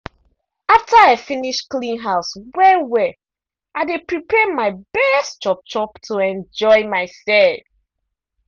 after i finish clean house well-well i dey prepare my best chop-chop to enjoy myself.